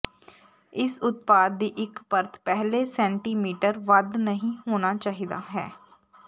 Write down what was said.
ਇਸ ਉਤਪਾਦ ਦੀ ਇੱਕ ਪਰਤ ਪਹਿਲੇ ਸੈਟੀਮੀਟਰ ਵੱਧ ਨਹੀ ਹੋਣਾ ਚਾਹੀਦਾ ਹੈ